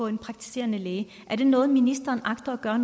en praktiserende læge er det noget ministeren agter at gøre